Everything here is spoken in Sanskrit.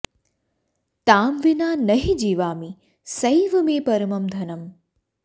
तां विना न हि जीवामि सैव मे परमं धनम्